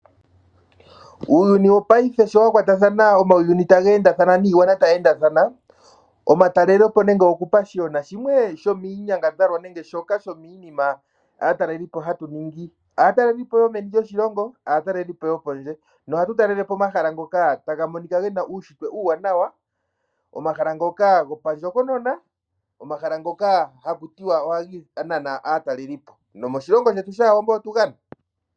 Uuyuni wo paife sho wa kwa ta thana, omauyuni ta gee nda thana, niigwana tayi enda thana, omatalele po nenge oku pa shigwana ,shimwe sho miinyangadhalwa nenge shoka sho miinima aatalelipo hatu ningi. Aatalelipo yo meni lyoshilongo, aatalelipo yo kondje ,noha tu talele po omahala ngoka taga monika gena uushitwe uuwanawa, omahala ngoka gopa ndjokonona, omahala ngoka ha ku tiwa ,ohaga nana aatalelipo. Nomoshilongo shetu otu ga na.